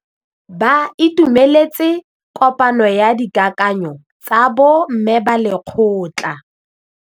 Ba itumeletse kôpanyo ya dikakanyô tsa bo mme ba lekgotla.